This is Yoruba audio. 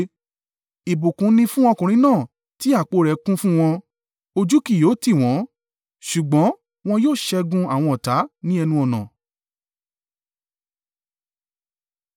Ìbùkún ni fún ọkùnrin náà tí apó rẹ̀ kún fún wọn; ojú kì yóò tì wọ́n, ṣùgbọ́n wọn yóò ṣẹ́gun àwọn ọ̀tá ní ẹnu-ọ̀nà.